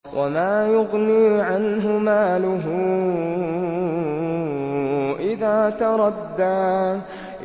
وَمَا يُغْنِي عَنْهُ مَالُهُ إِذَا تَرَدَّىٰ